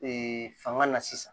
Ee fanga la sisan